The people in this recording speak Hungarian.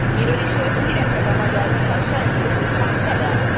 Miről is volt híres ez a magyar Lukasenko, Gyurcsány Ferenc?